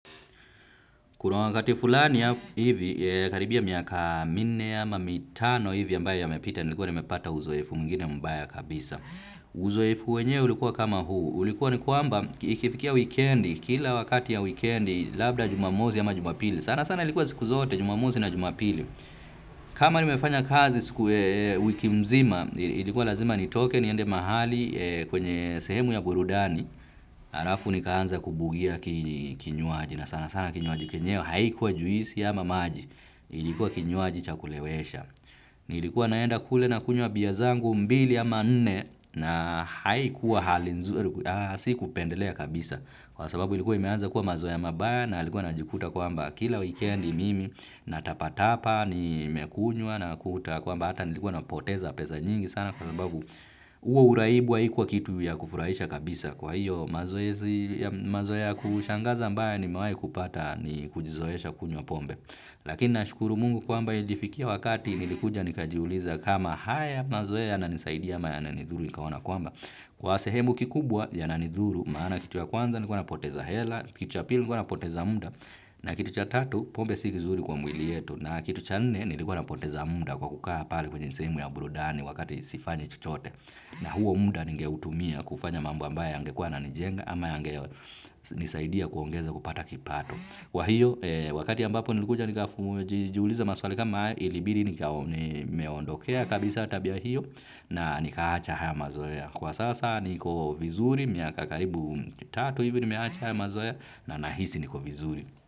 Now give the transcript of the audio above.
Kuna wakati fulani ya hivi, karibia miaka minne ama mitano hivi ambayo yamepita, nilikuwa nimepata uzoefu mwingine mbaya kabisa. Uzoefu wenyewe ulikuwa kama huu. Ulikuwa ni kwamba, ikifikia weekendi, kila wakati ya weekendi, labda jumamosi ama jumapili. Sana sana ilikuwa siku zote, jumamosi na jumapili. Kama nimefanya kazi siku wiki mzima, ilikuwa lazima nitoke niende mahali kwenye sehemu ya burudani. Halafu nikaanza kubugia kinywaji na sana sana kinywaji kenyewe haikuwa juisi ama maji. Ilikuwa kinywaji cha kulewesha. Nilikuwa naenda kule na kunywa bia zangu mbili ama nne na haikuwa hali nzuri. Haa si kupendelea kabisa kwa sababu ilikuwa imeanza kuwa mazoea mabaya. Na alikuwa najikuta kwamba kila weekendi mimi na tapatapa ni mekunywa unakuta kwamba hata nilikuwa napoteza pesa nyingi sana kwa sababu huo uraibu haikuwa kitu ya kufuraisha kabisa. Kwa hiyo mazoezi ya mazoea ya kushangaza ambayo nimewahi kupata ni kujizoesha kunywa pombe. Lakina nashukuru mungu kwamba ilifikia wakati nilikuja nikajiuliza kama haya mazoea yananisaidi ama yananidhuru nikaona kwamba. Kwa sehemu kikubwa yananidhuru maana kitu ya kwanza nilikuwa napoteza hela, kitu ya pili nilikuwa napoteza muda, na kitu cha tatu pombe si kizuri kwa mwili yetu, na kitu cha nne nilikuwa napoteza muda kwa kukaa pale kwenye sehemu ya burudani wakati sifanyi chochote. Na huo muda ningeutumia kufanya mambo ambayo yangekuwa yananijenga ama kunisaidia kuongeza kupata kipato. Kwa hiyo wakati ambapo nilikuja nikajiuliza maswali kama haya ilibidi nika nimeondokea kabisa tabia hiyo na nikaacha haya mazoea. Kwa sasa niko vizuri miaka karibu tatu hivyo nimeacha haya mazoea na nahisi niko vizuri.